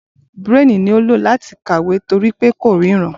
Braille ni ó ń lò láti kàwé torí pé ko ríran